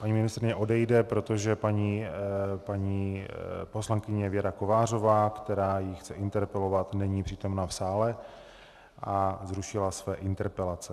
Paní ministryně odejde, protože paní poslankyně Věra Kovářová, která ji chce interpelovat, není přítomna v sále a zrušila své interpelace.